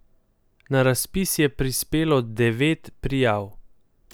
Na razpis je prispelo devet prijav.